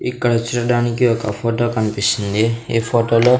ఇక్కడ చూడడానికి ఒక ఫోటో కనిపిస్తుంది ఈ ఫోటోలో .